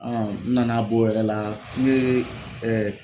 n nan'a b'o yɛrɛ la n ye